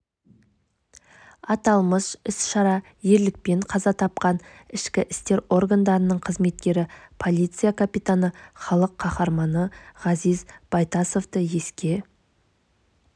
аталмыш іс-шара ерлікпен қаза тапқан ішкі істер органдарының қызметкері полиция капитаны халық қаһарманы ғазиз байтасовты еске